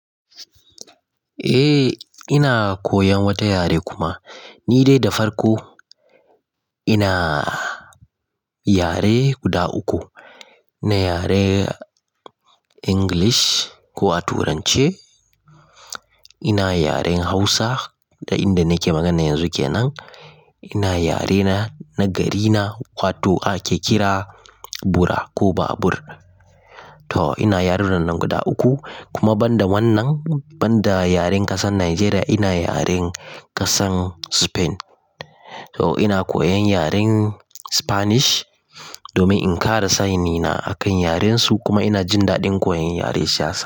Eh ina koyan wata yare kuma ni dai da farko ina yare guda uku. Ina yaren English ko a turance, ina yaren Hausa ta in da nake magana yanzu kenan, ina yare na garina wato ake kira Bura ko Babur. To ina yarunan nan guda uku kuma banda wannan banda yaren kasar Najeriya ina yaren kasar Spain. To ina koyan yaren Spanish domin in kara sanina akan yarensu kuma ina jin daɗin koyon yare sa.